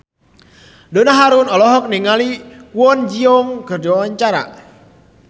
Donna Harun olohok ningali Kwon Ji Yong keur diwawancara